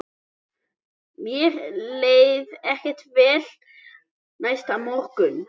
Mér leið ekkert vel næsta morgun.